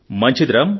మంచిది రామ్